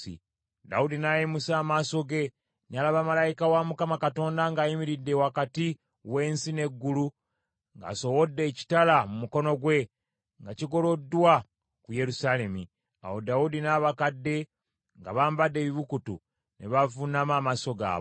Dawudi n’ayimusa amaaso ge, n’alaba malayika wa Mukama Katonda ng’ayimiridde wakati w’ensi n’eggulu ng’asowodde ekitala mu mukono gwe, nga kigoloddwa ku Yerusaalemi. Awo Dawudi n’abakadde, nga bambadde ebibukutu ne bavuunama amaaso gaabwe.